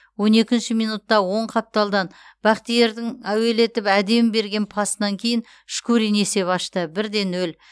он екінші минутта оң қапталдан бахтиярдің әуелетіп әдемі берген пасынан кейін шкурин есеп ашты бір де нөл